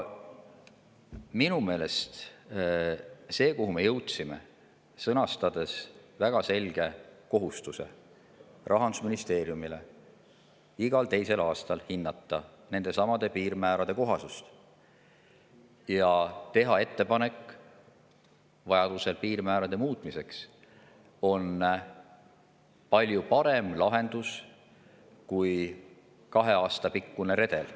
Minu meelest see, kuhu me jõudsime, sõnastades väga selge kohustuse Rahandusministeeriumile igal teisel aastal hinnata nendesamade piirmäärade kohasust ja vajaduse korral teha ettepanek piirmäärade muutmiseks, on palju parem lahendus kui kahe aasta pikkune redel.